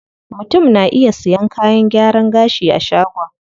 Mutum na iya sayan kayan gyaran gashi a shagon.